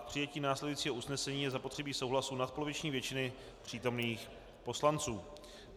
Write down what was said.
K přijetí následujícího usnesení je zapotřebí souhlasu nadpoloviční většiny přítomných poslanců.